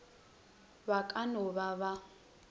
ba ka no ba ba